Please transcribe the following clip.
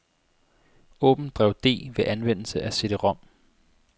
Åbn drev D ved anvendelse af cd-rom.